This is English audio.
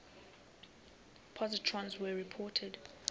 positrons were reported